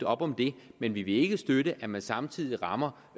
op om det men vi vil ikke støtte at man samtidig rammer